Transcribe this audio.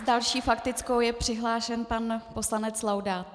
S další faktickou je přihlášen pan poslanec Laudát.